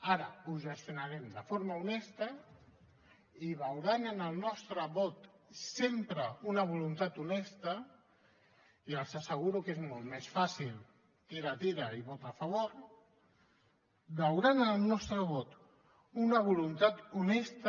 ara ho gestionarem de forma honesta i veuran en el nostre vot sempre una voluntat honesta i els asseguro que és molt més fàcil tira tira i vota a favor veuran en el nostre vot una voluntat honesta